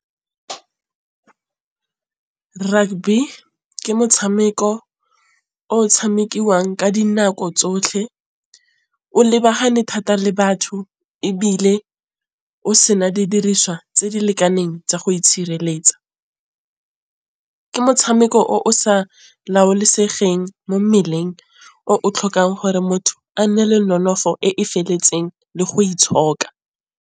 Rugby ke motšhameko o tšhamekiwang ka dinako tsotlhe o lebagane thata le batho ebile o sena di diriswa tse di lekaneng tsa go itšhireletsa. Ke motšhameko o sa laolesegeng mo mmeleng o tlhokang gore motho a nne le nonofo e e feletseng le go itshoka.